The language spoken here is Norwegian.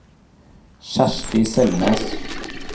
Kjersti Selnes